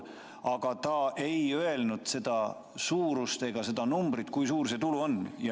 Aga ta ei öelnud nende suurust, seda numbrit, kui suur see tulu on.